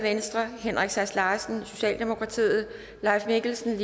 henrik sass larsen leif mikkelsen